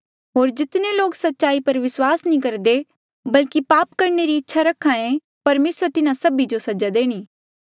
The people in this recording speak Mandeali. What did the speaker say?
होर जितने लोक सच्चाई पर विस्वास नी करदे बल्की पाप करणे री इच्छा रखे परमेसरा तिन्हा सभी जो सजा देणी